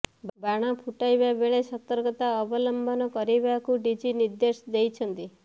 ବାଣ ଫୁଟାଇବା ବେଳେ ସତର୍କତା ଅବଲମ୍ବନ କରିବାକୁ ଡିଜି ନିର୍ଦ୍ଦେଶ ଦେଇଛନ୍ତି